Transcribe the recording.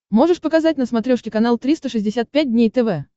можешь показать на смотрешке канал триста шестьдесят пять дней тв